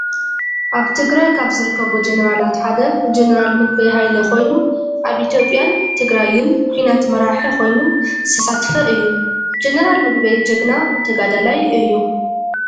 ኣብ ትግራይ ካብ ዝርከቡ ጀነራላት ሓደ ጀነራል ምግበይ ሃይለ ኮይኑ ኣብ ኢትዮጵያን ትግራይን ኩናት መራሒ ኮይኑ ዝተሳተፈ እዩ። ጀነራል ምግበይ ጅግና ተጋዳላይ እዩ።